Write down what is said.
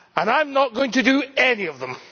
I am not going to do any of them.